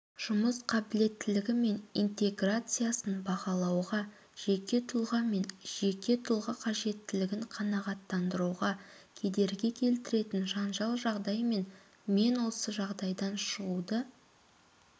жұмыс қабілеттілігі мен интеграциясын бағалауға жеке тұлға мен жеке тұлға қажеттілігін қанағаттандыруға кедергі келтіретін жанжал жағдай мен мен осы жағдайдан шығуды